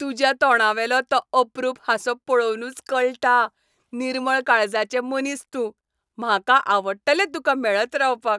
तुज्या तोंडावेलो तो अप्रूप हांसो पळोवनुच कळटा, निर्मळ काळजाचें मनीस तूं, म्हाका आवडटलें तुका मेळत रावपाक.